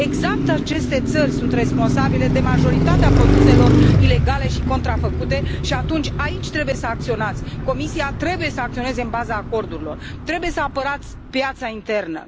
Exact aceste țări sunt responsabile de majoritatea produselor ilegale și contrafăcute și atunci aici trebuie să acționați Comisia trebuie să acționeze în baza acordurilor, trebuie să apărați piața internă.